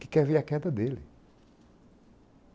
que quer ver a queda dele.